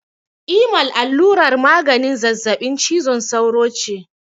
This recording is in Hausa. Imal allurar maganin zazzabin cizon sauro ce.